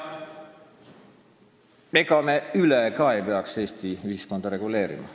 Ega me ei peaks Eesti ühiskonda ka ülereguleerima.